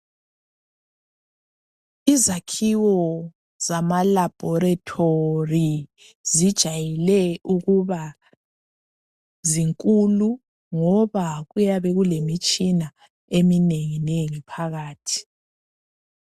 Izakhiwo zamalabhorethori zijayele ukuba zinkulu ngoba kuyabe kulemitshina eminenginengi phakathi.